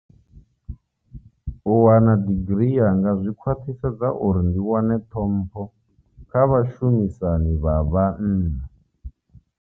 U wana digirii yanga zwi khwaṱhisedza uri ndi wane ṱhompho kha vhashumisani vha vhanna.